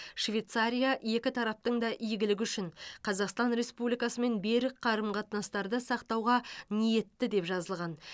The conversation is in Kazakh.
швейцария екі тараптың да игілігі үшін қазақстан республикасымен берік қарым қатынастарды сақтауға ниетті деп жазылған